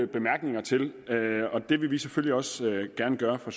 bemærkninger til og det vil vi selvfølgelig også gerne gøre fra